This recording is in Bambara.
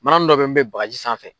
Manani dɔ bɛ n bɛ bagaji sanfɛ.